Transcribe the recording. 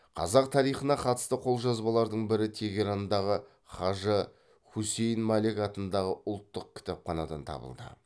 қазақ тарихына қатысты қолжазбалардың бірі тегерандағы қажы хусейн малек атындағы ұлттық кітапханадан табылды